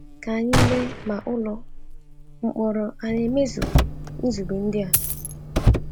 Ka anyị lee ma ụlọ mkpọrọ a na-emezu nzube ndị a.